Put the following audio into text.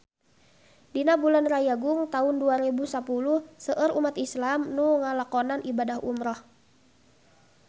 Dina bulan Rayagung taun dua rebu sapuluh seueur umat islam nu ngalakonan ibadah umrah